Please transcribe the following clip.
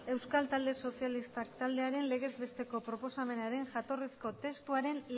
euskal talde sozialistak taldearen legez besteko proposamenaren jatorrizko testuaren